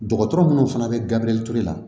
Dɔgɔtɔrɔ munnu fana bɛ gabure ture la